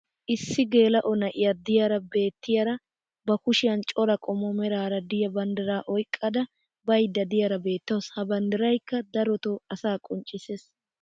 Issi geela'o na'iya diyaara beetiyaara ba kushiyan cora qommo meraara diya banddiraa oyqqada bayda diyaara beetawusu. Ha banddiraykka darotoo asaa qonccisees.